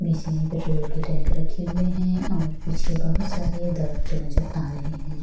बीच में पेट्रोल के टैंक रखे हुए है और पीछे बहुत सारे दरफ्त नजर आ रहे हैं।